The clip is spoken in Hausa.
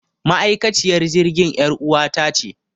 Ma'aikaciyar jirgin yar uwata ce